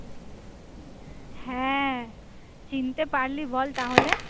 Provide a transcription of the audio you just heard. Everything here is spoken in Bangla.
হ্যাঁ চিনতে পারলি বল তাহলে?